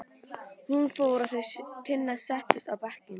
Hún fór og þau Tinna settust á bekkinn.